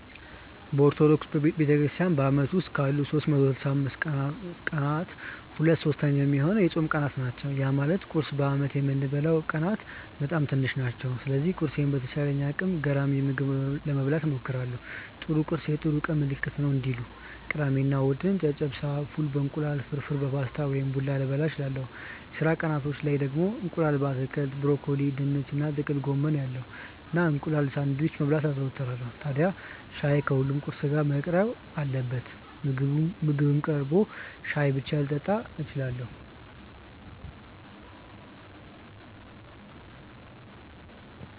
በኦርቶዶክስ ቤተክርስትያን በአመት ውስጥ ካሉት 365 ቀናት ሁለት ሶስተኛ ሚሆነው የጾም ቀናት ናቸው። ያ ማለት ቁርስ በአመት የምበላበት ቀናት በጣም ትንሽ ናቸው። ስለዚህ ቁርሴን በተቻለኝ አቅም ገራሚ ምግብ ለመብላት እሞክራለው 'ጥሩ ቁርስ የጥሩ ቀን ምልክት ነው' እንዲሉ። ቅዳሜ እና እሁድ ጨጨብሳ፣ ፉል በ እንቁላል፣ ፍርፍር በፓስታ ወይም ቡላ ልበላ እችላለው። የስራ ቀናቶች ላይ ደግሞ እንቁላል በአትክልት (ብሮኮሊ፣ ድንች እና ጥቅል ጎመን ያለው) እና እንቁላል ሳንድዊች መብላት አዘወትራለው። ታድያ ሻይ ከሁሉም ቁርስ ጋር መቅረብ አለበት። ምግብም ቀርቶ ሻይ ብቻ ልጠጣም እችላለው።